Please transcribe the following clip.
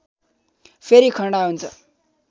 फेरि खडा हुन्छ